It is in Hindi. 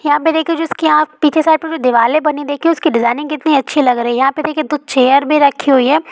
यहाँ पर दिखिए जैसे की आप पीछे साइड पर दिवाले बनी उसकी डिजाइनिंग कितनी अच्छी लग रही है यहाँ पर दिखिए दो चेयर भी रखी हुई है।